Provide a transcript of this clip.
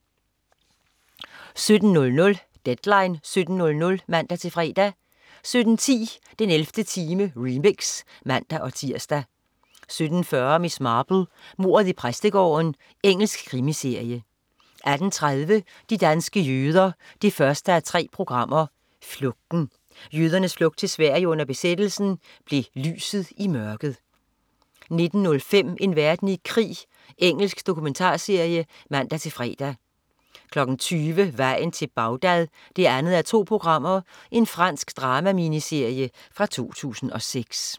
17.00 Deadline 17.00 (man-fre) 17.10 den 11. time, remix (man-tirs) 17.40 Miss Marple: Mordet i præstegården. Engelsk krimiserie 18.30 De danske jøder 1:3. Flugten. Jødernes flugt til Sverige under besættelsen blev lyset i mørket 19.05 En verden i krig. Engelsk dokumentarserie (man-fre) 20.00 Vejen til Bagdad 2:2. Fransk drama-miniserie fra 2006